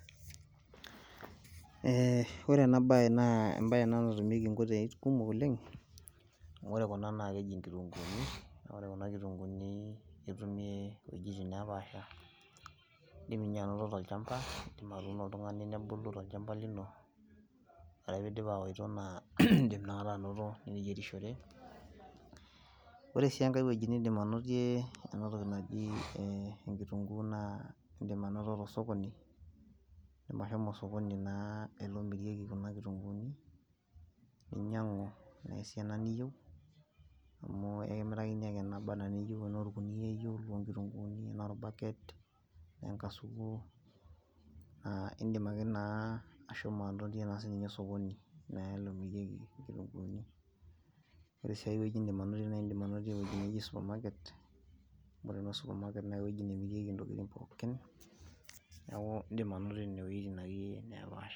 Eeeh ore ena baye naa ebaye ena natumieki nkoitoi kumok oleng amu ore kuna naa keji nkitunkuuni naa ore kuna kitunkuuni netumi too wuejitin napaasha. Idim ninye anoto tolchamba idim atuuno oltung`ani nebulu tolchamba lino. Ore ake pee idim awoto naa idim inakata anoto iniyierishore. Ore sii enkae wueji nidim anotie ena toki naji enkitunkuu naa, idim anoto to sokoni, idim ashomo osokoni ele omirieki kuna kitunguuni ninyiang`u naa esiana niyieu. Amu ekimirakini ake esiana niyieu amu ekimirakini ake nabaa anaa niyieu tenaa olkunia iyieu loo nkitunkuuni, e bucket tenaa enkasuku, idim ake naa ashomo anotie naa ninye osokoni omirieki naa nkitunkuuni. Ore sii ai wueji nidim anotie naa idim anotie ninye supermarket, amu ore naa o supermarket naa ewueji nemirieki ntokitin naa pookin niaku idim anotie nena wuejitin akeyie napaasha.